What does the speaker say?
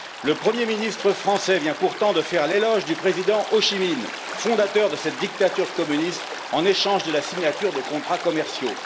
Le Premier ministre français vient pourtant de faire l'éloge du président Hô Chi Minh, fondateur de cette dictature communiste, en échange de la signature de contrats commerciaux.